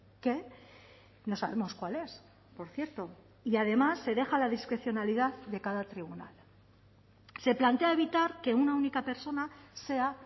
que no sabemos cuál es por cierto y además se deja a la discrecionalidad de cada tribunal se plantea evitar que una única persona sea